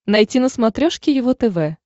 найти на смотрешке его тв